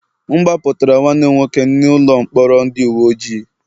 M gbapụtara nwanne m nwoke n'ụlọ mkpọrọ ndị uwe ojii